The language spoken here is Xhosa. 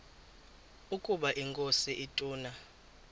ukaba inkosi ituna